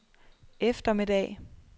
eftermiddag